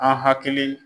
An hakili